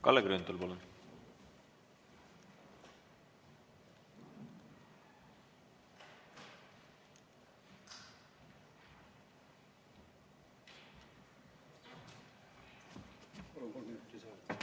Kalle Grünthal, palun!